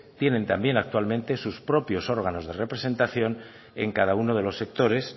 tienen también actualmente sus propios órganos de representación en cada uno de los sectores